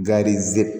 Gariz